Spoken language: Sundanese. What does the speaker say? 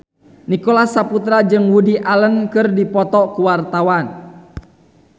Nicholas Saputra jeung Woody Allen keur dipoto ku wartawan